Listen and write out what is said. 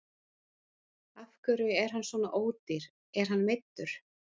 Af hverju er hann svona ódýr, er hann meiddur?